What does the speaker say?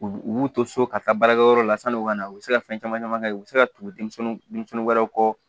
U u b'u to so ka taa baarakɛyɔrɔ la sann'u ka na u bɛ se ka fɛn caman caman kɛ u bɛ se ka tugu denmisɛn denmisɛnnin wɛrɛw kɔ